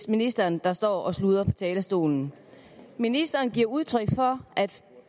ministeren der står og sludrer på talerstolen ministeren giver udtryk for at